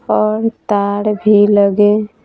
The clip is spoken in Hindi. और तार भी लगे--